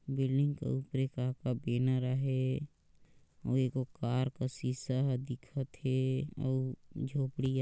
building के ऊपरे का का बैनर हे अउ ए गो कार का शीशा ह दिखथ हे अउ झोपड़ी ह --